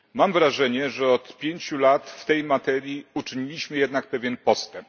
Mam wrażenie, że od pięciu lat w tej materii uczyniliśmy jednak pewien postęp.